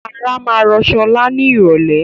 Ara máa rò sọlá ni irọ̀lẹ́